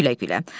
Gülə-gülə.